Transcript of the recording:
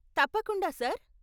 తప్పకుండా, సార్.